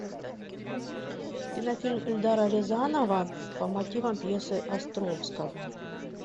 кинофильм эльдара рязанова по мотивам пьесы островского